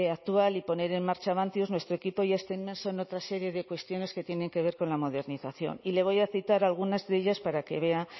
actual y poner en marcha avantius nuestro equipo ya está inmerso en otra serie de cuestiones que tienen que ver con la modernización y le voy a citar algunas de ellas para que vea